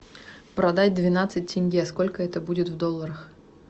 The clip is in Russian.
продать двенадцать тенге сколько это будет в долларах